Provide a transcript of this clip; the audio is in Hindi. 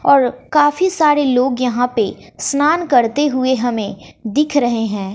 और काफी सारे लोग यहां पे स्नान करते हुए हमें दिख रहे हैं।